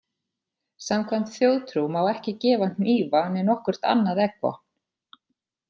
Samkvæmt þjóðtrú má ekki gefa hnífa né nokkurt annað eggvopn.